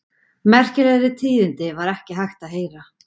Merkilegri tíðindi var ekki hægt að heyra.